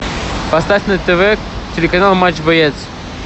поставь на тв телеканал матч боец